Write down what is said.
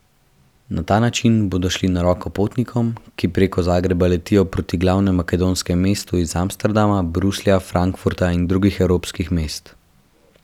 Na ta način bodo šli na roko potnikom, ki preko Zagreba letijo proti glavnem makedonskem mestu iz Amsterdama, Bruslja, Frankfurta in drugih evropskih mest.